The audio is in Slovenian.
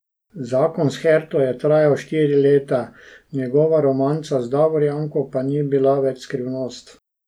Zakon s Herto je trajal štiri leta, njegova romanca z Davorjanko pa ni bila več skrivnost.